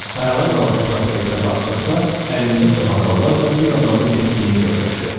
Ayağa qalxıb prospektə baxdıqda əlində çamadanlarla bir adamın getdiyini gördü.